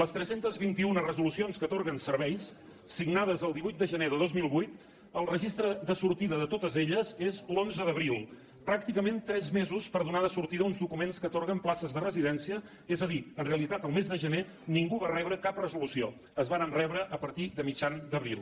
les tres cents i vint un resolucions que atorguen serveis signades el divuit de gener de dos mil vuit el registre de sortida de totes elles és l’onze d’abril pràcticament tres mesos per donar sortida uns documents que atorguen places de residència és a dir en realitat el mes de gener ningú no va rebre cap resolució es varen rebre a partir de mitjan d’abril